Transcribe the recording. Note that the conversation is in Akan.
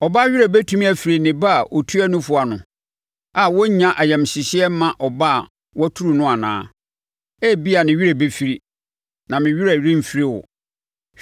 “Ɔbaa werɛ bɛtumi afiri ne ba a ɔtua nufoɔ ano a ɔrennya ayamhyehyeɛ mma ɔba a waturu no anaa? Ebia ne werɛ bɛfiri, na me werɛ remfiri wo!